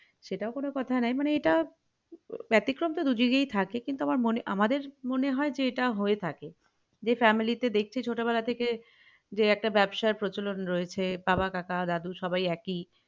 সেটাও কোনো কথা নয় মানে এটা বেতিক্রম তো দুইদিকেই থাকে কিন্তু আমার আমাদের মনে হয় যে এটা হয়ে থাকে যে family তে দেখছি ছোট বেলা থেকে যে একটা ব্যাবসায় প্রচলণ রয়েছে বাবা কাকা দাদু সবাই একই